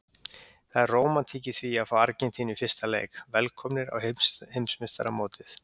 Það er rómantík í því að fá Argentínu í fyrsta leik, velkomnir á heimsmeistaramótið.